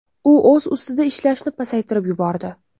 U o‘z ustida ishlashni pasaytirib yubordi.